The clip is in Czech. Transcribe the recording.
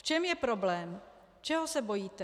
V čem je problém, čeho se bojíte?